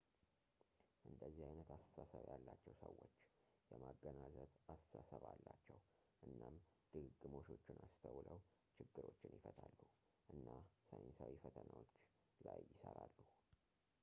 እንደዚህ ዓይነት አስተሳሰብ ያላቸው ሰዎች የማገናዘብ አስተሳሰብ አላቸው እናም ድግግሞሾችን አስተውለው ችግሮችን ይፈታሉ እና ሳይንሳዊ ፈተናዎች ላይ ይሠራሉ